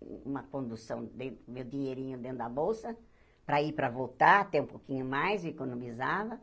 uma condução, dei meu dinheirinho dentro da bolsa para ir para voltar, até um pouquinho mais, economizava.